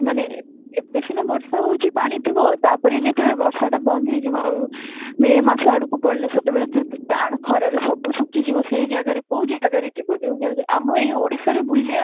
ମାନେ ଏବେ ସିନା ବର୍ଷା ହେଉଛି ପାଣି ଥିବ ତା'ପରେ ଯେତେବେଳେ ବର୍ଷା ଟା ବନ୍ଦ ହେଇ ଯିବ ଆଉ may ମାସ ଆଡକୁ ପଡିଲେ ସେତେବେଳେ ଯେ ଟାଣ ଖରାରେ ସବୁ ଶୁଖି ଯିବ ସେଇ ଜାଗାରେ କୋଉ ଜାଗାରେ ଯିବ ଯଉ ଜାଗାରେ ଆମ ଏଇ ଓଡିଶାରେ ବୁଲିବା